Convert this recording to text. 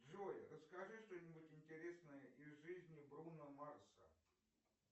джой расскажи что нибудь интересное из жизни бруно марса